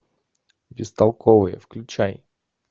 бестолковые включай